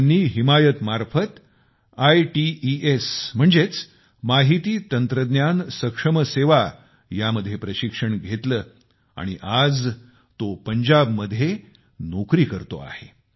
त्यांनी हिमायतमार्फत आयटीईएस म्हणजेच माहिती तंत्रज्ञान सक्षम सेवा यामध्ये प्रशिक्षण घेतले आणि आज तो पंजाबमध्ये नोकरी करत आहे